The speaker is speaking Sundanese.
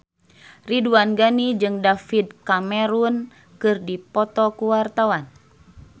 Ridwan Ghani jeung David Cameron keur dipoto ku wartawan